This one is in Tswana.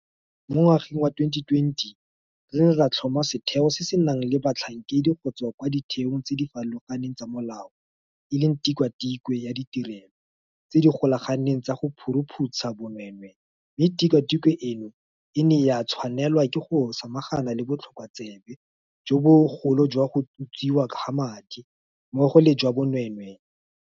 Mo ngwageng wa 2020 re ne ra tlhoma setheo se se nang le batlhankedi go tswa kwa ditheong tse di farologaneng tsa molao e leng Tikwatikwe ya Ditirelo tse di Golaganeng tsa go Phuruphutsha Bonweenwee mme tikwatikwe eno e ne ya tshwanelwa ke go samagana le botlhokotsebe jo bogolo jwa go utswiwa ga madi, mmogo le jwa bonweenwee.